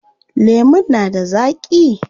Lemun na da zaaƙi?